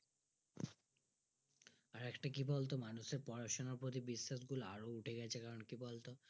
আর একটা কি বলতো মানুষের পড়াশোনার প্রতি বিশ্বাস গুলো উঠে গেছে কারণটা কি বলতো?